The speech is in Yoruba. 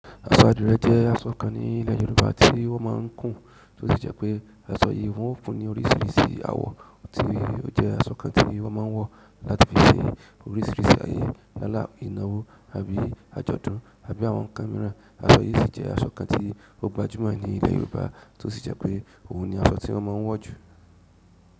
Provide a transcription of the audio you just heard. Aṣọ adìrẹ́ jẹ́ aṣọ kan ní ilẹ̀ Yorùbá tí wọ́n máa ń kùn, tó sì jẹ́ pé aṣọ yìí wọ́n kùn ní oríṣiríṣi àwọ̀, tí ó jẹ́ aṣọ kan tí wọ́n máa ń wọ̀ láti fi ṣe oríṣiríṣi ayẹyẹ, yáàlá ìnáwó àbí àjọ̀dún àbí àwọn kámẹ́rà. Asọ yìí sì jẹ́ aṣọ kan tí ó gbajúmọ̀ ní ilẹ̀ Yorùbá tó sì jẹ́ pé òun ni asọ tí wọ́n máa ń wọ̀ jù.